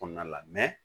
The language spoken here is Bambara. Kɔɔna la